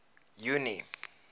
junie